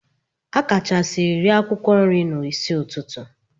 A akachasiri ree akwụkwọ nri n'isi ụtụtụ.